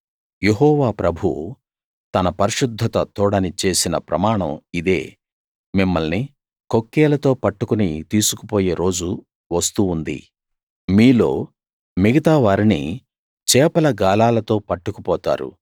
యెహోవా ప్రభువు తన పరిశుద్ధత తోడని చేసిన ప్రమాణం ఇదే మిమ్మల్ని కొక్కేలతో పట్టుకుని తీసుకుపోయే రోజు వస్తూ ఉంది మీలో మిగతావారిని చేపల గాలాలతో పట్టుకుపోతారు